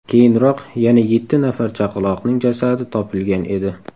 Keyinroq yana yetti nafar chaqaloqning jasadi topilgan edi .